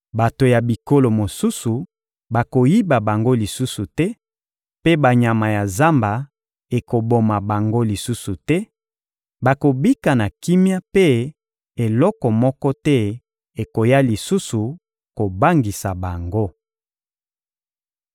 Bato ya bikolo mosusu bakoyiba bango lisusu te, mpe banyama ya zamba ekoboma bango lisusu te; bakobika na kimia mpe eloko moko te ekoya lisusu kobangisa bango.